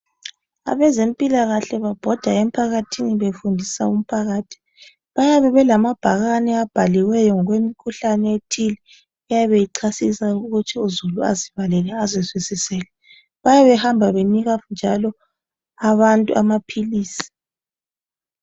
Abezempila kahle babhoda emphakathini befundisa umphakathi bayabe belamabhakane abhaliweyo ngokwemikhuhlane ethile eyabe ichasisa ukuthi uzulu azibalele azizwisisele bayabe behamba njalo benika njalo abantu amaphilisi